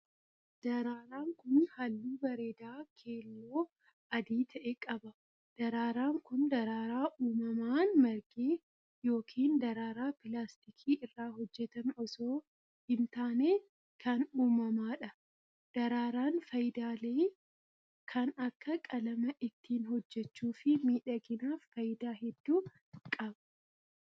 Daraaraan kun, haalluu bareedaa keelloo adii ta'e qaba. Daraaraan kun, daraaraa uumamaan marge yookiin daraaraa pilaastika irraa hojjatame osoo hin taane kan uumamaadha. Daraaraan faayidaalee kan akka qalama ittiin hojjachuuf fi miidhaginaaf faayidaa hedduu qaba.